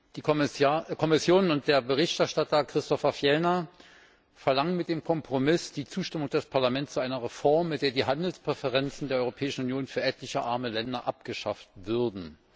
Die Kommission und der Berichterstatter, Christofer Fjellner, verlangen mit dem Kompromiss die Zustimmung des Parlaments zu einer Reform, mit der die Handelspräferenzen der Europäischen Union für etliche arme Länder abgeschafft würden.